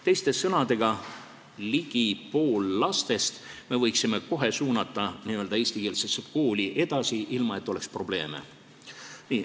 Teiste sõnadega, ligi poole lastest me võiksime kohe suunata eestikeelsesse kooli edasi, ilma et oleks probleeme.